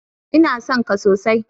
Ina son ka sosai.